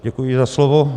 Děkuji za slovo.